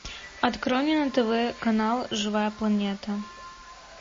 открой мне на тв канал живая планета